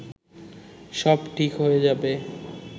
সব ঠিক হয়ে যাবে